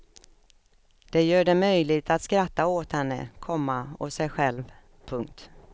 Det gör det möjligt att skratta åt henne, komma och sig själv. punkt